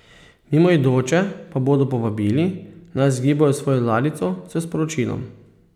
Mimoidoče pa bodo povabili, naj zgibajo svojo ladjico s sporočilom.